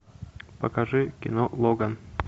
покажи кино логан